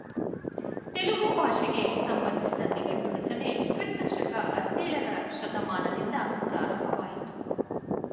ತೆಲುಗು ಭಾಷೆಗೆ ಸಂಬಂಧಿಸಿದ ನಿಘಂಟು ರಚನೆ ಕ್ರಿಸ್ತ ಶಕ ಹದಿನೇಳರ ಶತಮಾನದಿಂದ ಪ್ರಾರಂಭವಾಯಿತು